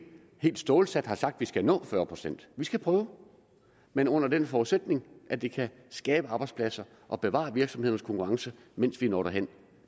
helt stålsat har sagt at vi skal nå fyrre procent vi skal prøve men under den forudsætning at det kan skabe arbejdspladser og bevare virksomhedernes konkurrenceevne mens vi når derhen